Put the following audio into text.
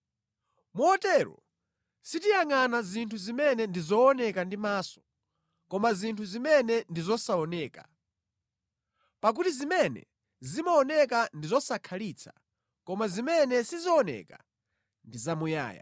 Motero sitiyangʼana zinthu zimene ndi zooneka ndi maso, koma zinthu zimene ndi zosaoneka. Pakuti zimene zimaoneka ndi zosakhalitsa, koma zimene sizioneka ndi zamuyaya.